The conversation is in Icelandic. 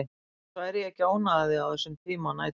Annars væri ég ekki að ónáða þig á þessum tíma nætur.